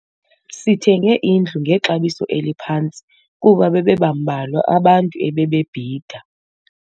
Sithenge indlu ngexabiso eliphantsi kuba bebembalwa abantu ebebebhida.